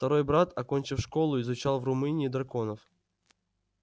второй брат окончив школу изучал в румынии драконов